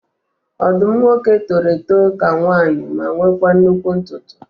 Ọdụm nwoke toro eto ka nwanyị ma nwekwa nnụkwụ ntutu